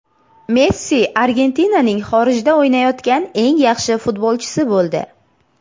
Messi Argentinaning xorijda o‘ynayotgan eng yaxshi futbolchisi bo‘ldi.